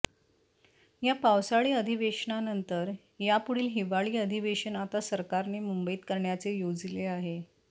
या पावसाळी अधिवेशनानंतर या पुढील हिवाळी अधिवेशन आता सरकारने मुंबईत करण्याचे योजिले आहे